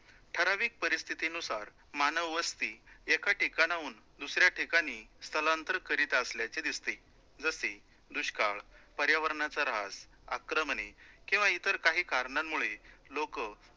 ठरविक परिस्थितीनुसार मानव वस्ती एका ठिकाणाहून दुसऱ्याठिकाणी स्थलांतरित करीत असल्याचे दिसते, जसे दुष्काळ, पर्यावरणाचा ऱ्हास आक्रमणे किंवा इतर काही कारणांमुळे लोकं